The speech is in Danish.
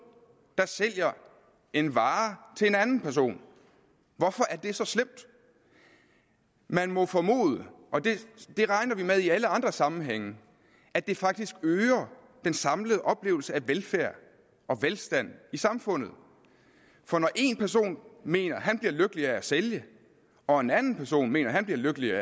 der sælger en vare til en anden person hvorfor er det så slemt man må formode og det regner vi med i alle andre sammenhænge at det faktisk øger den samlede oplevelse af velfærd og velstand i samfundet for når én person mener at han bliver lykkelig af at sælge og en anden person mener at han bliver lykkelig af